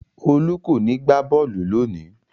Olú kò ní gbá bọ́ọ́lù lónìí!